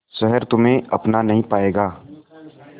शहर तुम्हे अपना नहीं पाएगा